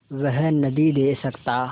वह नदीं दे सकता